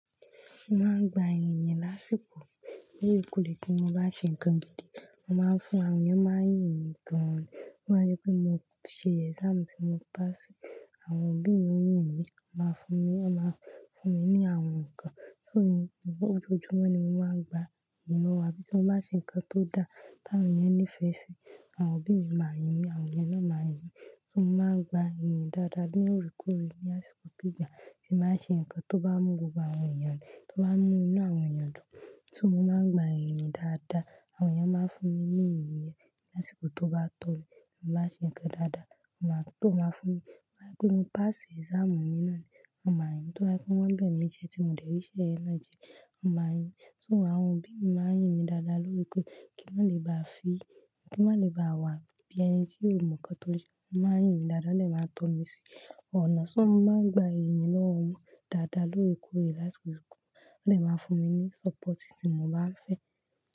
Mo máa ń gba ìyìn lásiko lóorekóorè tí mo bá ṣe nǹkan gidi, mo máa ń fún àwọn èèyàn máa ń yìn mí gaan ni. Wọ́n máa rí pé mo ṣe exam tí mo pass, àwọn òbí mi ó yìn mí, wọ́n máa fún mi, wọ́n máa fún mi ní àwọn nǹkan. So ìbá ojú ọjọ́ náà ni mo máa ń gba ìyìn lọ́wọ́ ẹbí tí mo bá ṣe nǹkan tó dáa tí àwọn èèyàn ní ìfẹ́ sí, àwọn òbí mi máa yìn mí, àwọn èèyàn náà máa yìn mí. So mo máa ń gba ìyìn dáadáa bí ó rí kú irẹ ní àsìkò gbígbà, èmi máa ṣe nǹkan tó bá mú gbogbo àwọn èèyàn le, tó máa ń mú inú àwọn èèyàn dùn. So mo máa ń gba ìyìn dáadáa, àwọn èèyàn máa ń fún mi ní iyì láṣi kọ tó bá tóbi. Mo bá ṣe nǹkan dáadáa, wọ́n máa tó máa fún mi. Wọ́n rí pé mo pass exam mi náà ni wọ́n máa yìn mí. Tí wọ́n bá rí pé wọ́n bẹ̀ mí jẹ tí mo dé rí iṣẹ́ ẹ náà jẹ, wọ́n máa yìn mí. So àwọn òbí mi máa ń yìn mí dáadáa lórí pé kí n má lè bá fi, kí n má lè bá wà bí ẹni tí ó mọ nǹkan tó jẹ, wọ́n máa ń yìn mí dáadáa ní ẹ máa ń to mi sí ọ̀nà. So mo máa ń gba ìyìn lọ́wọ́ wọn dáadáa lórí ikú ìrẹ lásìkò ikú, wọ́n lè máa fún mi ní sọ́pọ̀tì tí mo bá ń fẹ́.